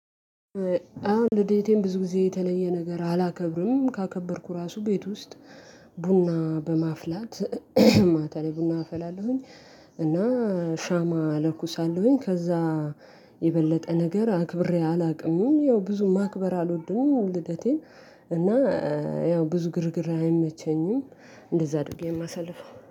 አዎ ልደቴም ብዙ ጊዜ የተለየ ነገር አላከብርም ካከበርኩ ራሱ ቤት ውስጥ ቡና በማፍላት ማታ ላይ ቡና አፈላለሁኝ። እና ሻማ እለኩሳለሁኝ ከዛ የበለጠ ነገር አክብሬ አላውቅምም። ያው ብዙ ማክበር አልወድም ልደቴን እና ያው ብዙ ግርግር አይመቸኝም። እንደዛ ደግሞ የማሳልፈው